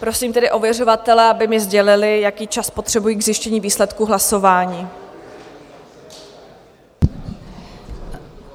Prosím tedy ověřovatele, aby mi sdělili, jaký čas potřebují k zjištění výsledku hlasování.